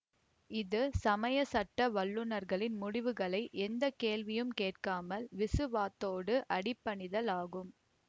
இது சமயச் சட்ட வல்லுநர்களின் முடிவுகளை எந்த கேள்வியும் கேட்காமால் விசுவாத்தோடு அடிபணிதல் ஆகும்